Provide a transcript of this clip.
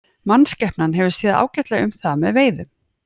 Mannskepnan hefur séð ágætlega um það með veiðum.